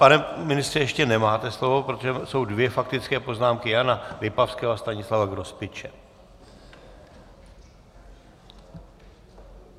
Pane ministře, ještě nemáte slovo, protože jsou dvě faktické poznámky, Jana Lipavského a Stanislava Grospiče.